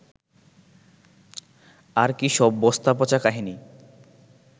আর কী সব বস্তাপচা কাহিনি